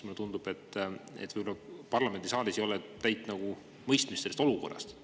Mulle tundub, et võib-olla parlamendisaalis ei ole täit mõistmist, milline see olukord on.